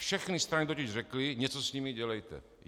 Všechny strany totiž řekly: něco s nimi dělejte.